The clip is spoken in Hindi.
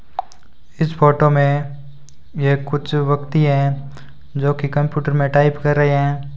इस फोटो में ये कुछ व्यक्ति हैं जोकि कंप्यूटर में टाइप कर रहे हैं।